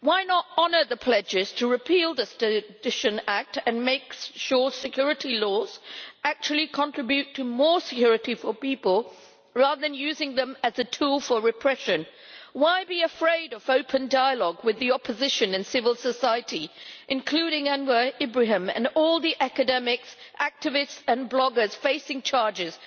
Why not honour the pledges to repeal the Sedition Act and make sure security laws actually contribute to more security for people, rather than using them as a tool for repression? Why be afraid of open dialogue with the opposition and civil society, including Anwar Ibrahim and all the academics, activists and bloggers facing charges?